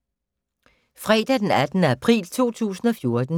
Fredag d. 18. april 2014